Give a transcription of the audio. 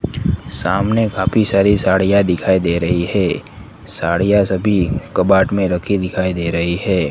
सामने काफी सारी साड़ियां दिखाई दे रही है साड़ियां सभी कबाट में रखी दिखाई दे रही है।